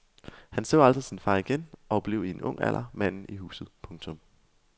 Han så aldrig sin far igen og blev i en ung alder manden i huset. punktum